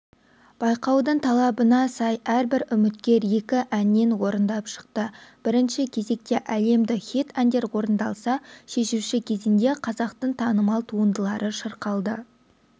байқаудың талабына сай әрбір үміткер екі әннен орындап шықты бірінші кезекте әлемдік хит әндер орындалса шешуші кезеңде қазақтың танымал туындылары шырқалды